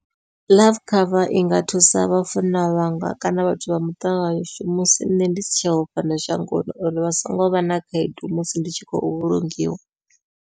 Life cover inga thusa vhafuna vhanga kana vhathu vha muṱa washu, musi nṋe ndi si tsheho fhano shangoni uri vha songo vha na khaedu musi ndi tshi khou vhulungiwa.